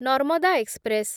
Narmada express